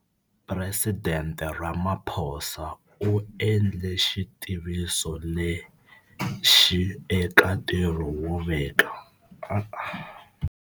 Presidente Cyril Ramaphosa u endle xitiviso lexi eka ntirho wo veka.